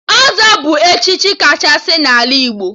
Ọzọ bụ echichi kachasị n'ala Igbo